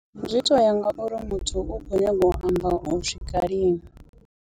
Zwi toya nga uri muthu u khou nyaga u amba u swika lini.